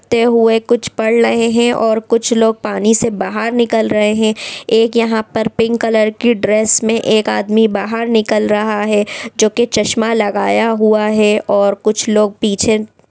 ते हुए कुछ पढ़ रहे हैं और कुछ लोग पानी से बाहर निकल रहे हैं। एक यहाँ पर कलर की ड्रेस में एक आदमी बाहर निकल रहा है जो की चश्मा लगाया हुआ है और कुछ लोग पीछे--